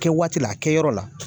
Kɛ waatila a kɛyɔrɔ la